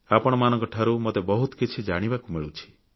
ଆପଣମାନଙ୍କଠାରୁ ମୋତେ ବହୁତ କିଛି ଜାଣିବାକୁ ମିଳୁଛି